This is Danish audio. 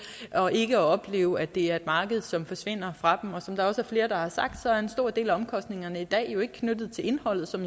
ikke oplever at det er et marked som forsvinder fra dem og som der også er flere der har sagt så er en stor del af omkostningerne i dag jo ikke knyttet til indholdet som